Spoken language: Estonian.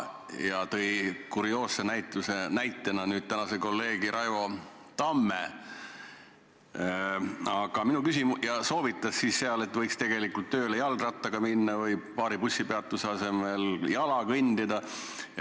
Ja kurioosse näitena viitas ta meie tänasele kolleegile Raivo Tammele ja soovitas, et võiks tegelikult tööle jalgrattaga sõita või paar bussipeatusevahet jala kõndida.